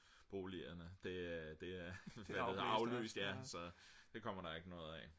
boligerne det er aflyst så det kommer der ikke noget af